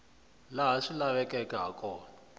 laha swi lavekaka ha kona